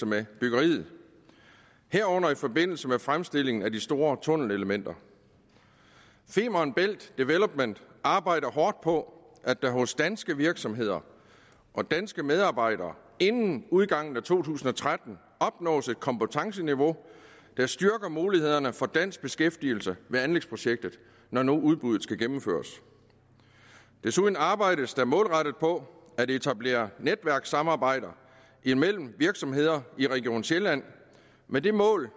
med byggeriet herunder i forbindelse med fremstilling af de store tunnelelementer femern bælt development arbejder hårdt på at der hos danske virksomheder og danske medarbejdere inden udgangen af to tusind og tretten opnås et kompetenceniveau der styrker mulighederne for dansk beskæftigelse med anlægsprojekter når nu udbuddet skal gennemføres desuden arbejdes der målrettet på at etablere netværkssamarbejder imellem virksomheder i region sjælland med det mål